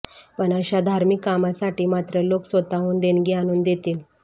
पण अशा धार्मिक कामासाठी मात्र लोक स्वतःहून देणगी आणून देतील